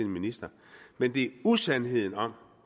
minister men det usandheden om